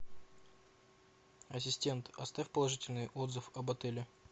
ассистент оставь положительный отзыв об отеле